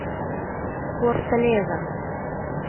форталеза